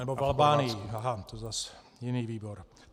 Nebo v Albánii, aha, to je zase jiný výbor.